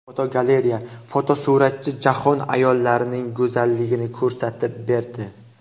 Fotogalereya: Fotosuratchi jahon ayollarining go‘zalligini ko‘rsatib berdi.